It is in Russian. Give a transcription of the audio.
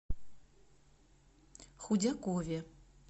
худякове